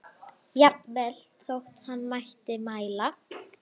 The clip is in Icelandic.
Jafnvel þótt hann mætti mæla.